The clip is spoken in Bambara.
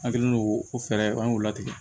An kɛlen don ko fɛɛrɛ an y'o latigɛ